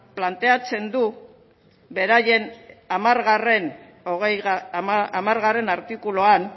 plantatzen du beraien hamar artikuluan